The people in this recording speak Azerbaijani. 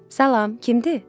Salam, kimdir?